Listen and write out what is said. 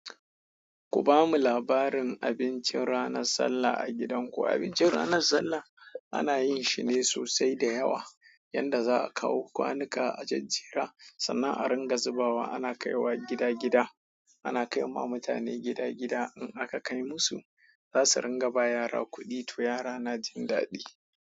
Ku bamu labarin abincin ranar sallah a gidanku. Abincin ranar sallah ana yin shi ne sosai da yawa, yadda za a kawo kwanuka a jajjera. Sannan a ringa zubawa ana kaiwa gida gida, ana kaima mutane gida gida in aka kaimusu za su ringa ba wa yara kuɗi, to yara na jin daɗi.